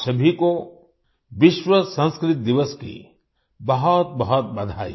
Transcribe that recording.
आप सभी को विश्व संस्कृत दिवस की बहुतबहुत बधाई